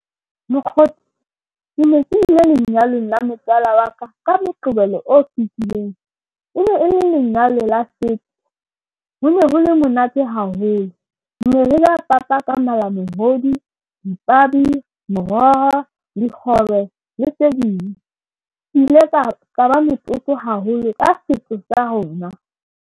Mokgotsi ke ne ke ile lenyalong la motswala wa ka ka Moqebelo o fetileng. E ne e le lenyalo la setso. Ho ne ho le monate haholo. Ne re ja papa ka malamohodu, dipabi, moroho, dikgobe le tse ding. Ke ile ka ka ba motlotlo haholo ka setso sa rona.